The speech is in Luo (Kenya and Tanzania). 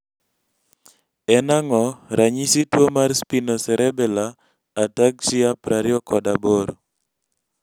en ang'o ranyisis tuo mar Spinocerebellar ataxia 28?